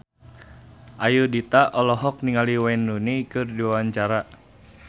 Ayudhita olohok ningali Wayne Rooney keur diwawancara